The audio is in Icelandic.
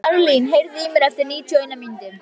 Marlín, heyrðu í mér eftir níutíu og eina mínútur.